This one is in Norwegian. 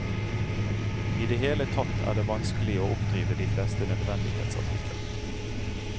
I det hele tatt er det vanskelig å oppdrive de fleste nødvendighetsartikler.